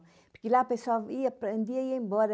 Porque lá a pessoa ia, aprendia e ia embora.